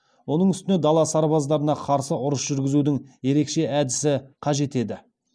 оның үстіне дала сарбаздарына қарсы ұрыс жүргізудің ерекше әдісі қажет еді